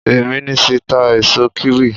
Ìmísí n ta èso kíwì